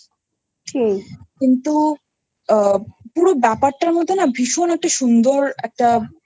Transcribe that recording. কিন্তু পুরো ব্যাপারটার মধ্যে না ভীষণ একটা সুন্দর।